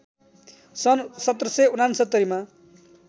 सन् १७६९ मा